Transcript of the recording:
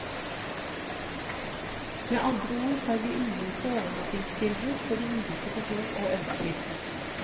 Med andre ord har vi ulike overnattingstilbud for de ulike behov og ønsker.